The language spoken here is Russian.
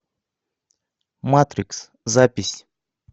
матрикс запись